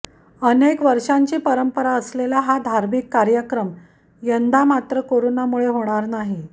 अनेक वर्षांची परंपरा असलेला हा धार्मिक कार्यक्रम यंदा मात्र करोनामुळे होणार नाही